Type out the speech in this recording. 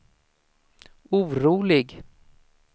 orolig